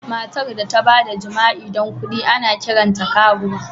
Matar da ta ba da jima'i don kuɗi, ana kiranta karuwa.